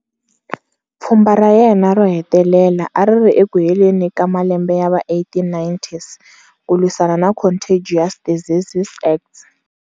Pfhumba ra yena ro hetelela ari ri eku heleni ka malembe yava 1890s, ku lwisana na Contagious Diseases Acts.